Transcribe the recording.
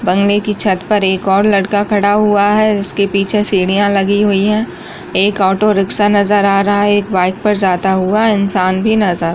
बंगले की छत पर एक और लड़का खड़ा हुआ है पीछे सीढ़ियां लगी हुई है एक ऑटो रिक्शा नजर आ रहा है एक बाइक पे जाता हुआ इंसान भी नजर --